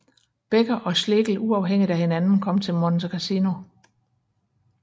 Becker og Schlegel uafhængigt af hinanden kom til Monte Cassino